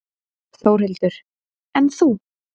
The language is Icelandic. Þórhildur: En þú?